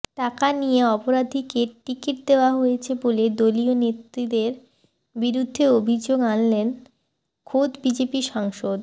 টাকা নিয়ে অপরাধীদের টিকিট দেওয়া হয়েছে বলে দলীয় নেতৃত্বের বিরুদ্ধে অভিযোগ আনলেন খোদ বিজেপি সাংসদ